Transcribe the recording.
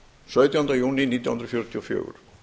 sautjánda júní nítján hundruð fjörutíu og fjögur